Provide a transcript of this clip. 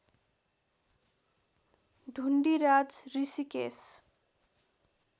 Dhundiraj Rishikesh